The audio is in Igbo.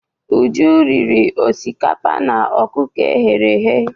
Uju riri osikapa na ọkụkọ e ghere eghe.